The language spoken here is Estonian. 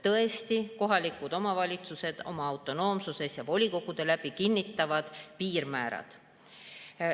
Tõesti, kohalikud omavalitsused oma autonoomsuses ja volikogude kaudu kinnitavad piirmäärad.